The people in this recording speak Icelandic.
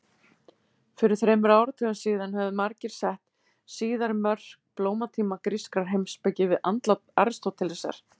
Fyrir þremur áratugum síðan hefðu margir sett síðari mörk blómatíma grískrar heimspeki við andlát Aristótelesar.